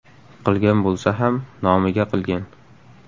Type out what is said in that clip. Qilgan bo‘lsa ham, nomiga qilgan.